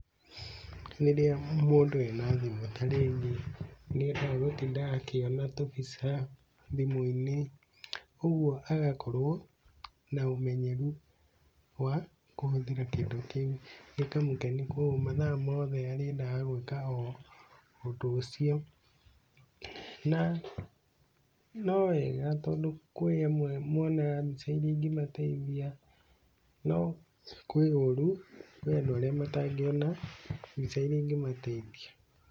Rĩrĩa mundũ ena thimũ tarĩu niendaga gũtinda akĩona tũbica thimũ-inĩ, ũguo agakorwo na ũmenyeru wa kũhũthĩra kĩndũ kĩu, gĩkamũkenia koguo mathaa mothe arĩendaga gũika ũndũ ucio. Na nowega tondũ kũĩamwe monaga mbica iria ingĩmateithia, no kwĩ ũru, kwĩ andũ arĩa matangĩona mbica iria ingĩmateithia.